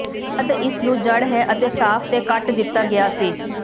ਤਦ ਇਸ ਨੂੰ ਜੜ੍ਹ ਹੈ ਅਤੇ ਸਾਫ਼ ਤੇ ਕੱਟ ਕੀਤਾ ਗਿਆ ਸੀ